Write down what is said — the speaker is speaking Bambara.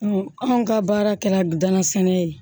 anw ka baara kɛra danna sɛnɛ ye